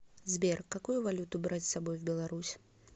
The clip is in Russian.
сбер какую валюту брать с собой в беларусь